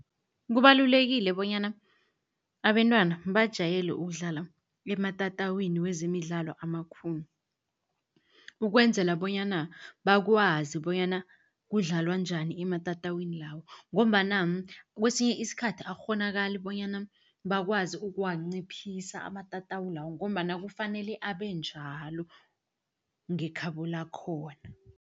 Kubalulekile bonyana abentwana bajayele ukudlala ematatawini wezemidlalo amakhulu, ukwenzela bonyana bakwazi bonyana kudlalwa njani ematatawini lawo. Ngombana kesinye isikhathi akukghonakali bonyana bakwazi ukuwanciphisa amatatawu lawo, ngombana kufanele abe njalo ngekhabo lakhona.